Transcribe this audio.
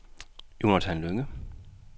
Jonathan Lynge